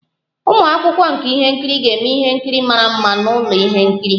Ụmụ akwụkwọ nka ihe nkiri ga-eme ihe nkiri mara mma n'ụlọ ihe nkiri